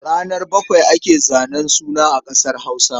Ranar bakwai ake zanen suna a ƙasar Hausa.